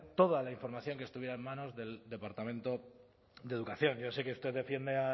toda la información que estuviera en manos del departamento de educación yo sé que usted defiende